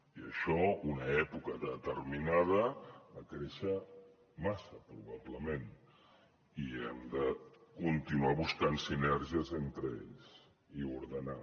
i això una època determinada va créixer massa probablement i hem de continuar buscant sinergies entre ells i ordenar